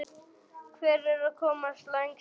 Hver er að komast lengst að?